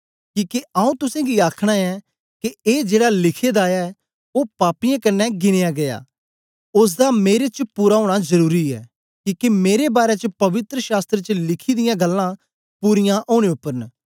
किके आऊँ तुसेंगी आखना ऐं के ए जेड़ा लिखे दा ऐ ओ पापियें कन्ने गिनया गीया ओसदा मेरे च पूरा ओना जरुरी ऐ किके मेरे बारै च पवित्र शास्त्र च लिखी दियां गल्लां पूरीयां ओनें उपर न